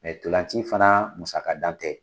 Mɛ ntolanci fana musaga ntan tɛ.